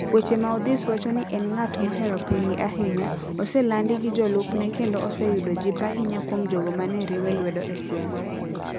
Weche maOdhis wacho ni en ng'at mohero pinygi ahinya, oselandi gi jolupne kendo oseyudo jip ahinya kuom jogo ma ne riwe lwedo e siasa.